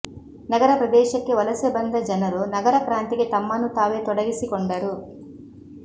ನಗರ ಪ್ರದೇಶಕ್ಕೆ ವಲಸೆ ಬಂದ ಜನರು ನಗರ ಕ್ರಾಂತಿಗೆ ತಮ್ಮನ್ನು ತಾವೇ ತೊಡಗಿಸಿಕೊಂಡರು